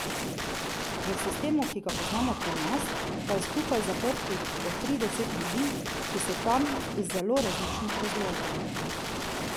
V sistemu, ki ga poznamo pri nas, pa je skupaj zaprtih po trideset ljudi, ki so tam iz zelo različnih razlogov.